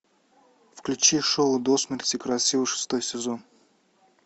включи шоу до смерти красива шестой сезон